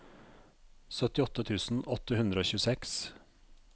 syttiåtte tusen åtte hundre og tjueseks